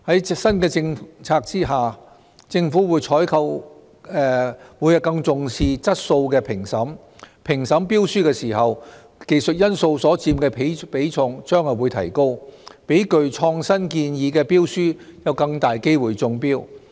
在新政策下，政府採購會更重視質素的評審，評審標書時技術因素所佔的比重將會提高，讓具創新建議的標書有更大機會中標。